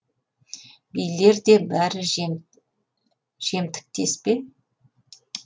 билер де бәрі жемтіктес пе